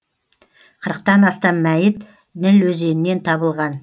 қырықтан астам мәйіт ніл өзенінен табылған